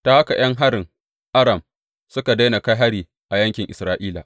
Ta haka ’yan harin Aram suka daina kai hari a yankin Isra’ila.